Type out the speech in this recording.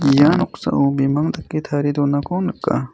ia noksao bimang dake tarie donako nika.